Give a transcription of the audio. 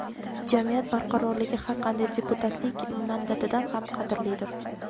jamiyat barqarorligi har qanday deputatlik mandatidan ham qadrlidir.